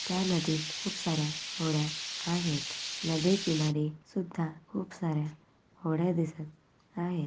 त्या नदीत खूप साऱ्या होड्या आहेत नदी किनारी सुद्धा खूप साऱ्या होड्या दिसत आहेत.